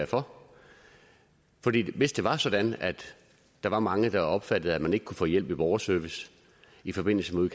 for hvis det var sådan at der var mange der opfattede at man ikke kunne få hjælp hos borgerservice i forbindelse med